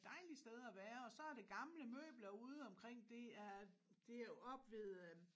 Dejlig sted at være og så er det gamle møbler ude omkring det er oppe ved